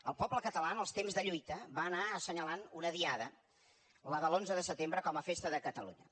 el poble català en els temps de lluita va anar assenyalant una diada la de l’onze de setembre com a festa de catalunya